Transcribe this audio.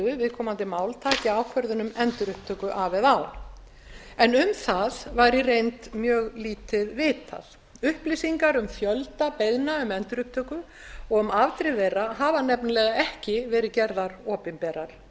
viðkomandi mál taki ákvörðun um endurupptöku af eða á en um það var í reynd mjög lítið vitað upplýsingar um fjölda beiðna um endurupptöku og um afdrif þeirra hafa nefnilega ekki verið gerðar opinberar